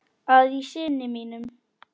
að í syni mínum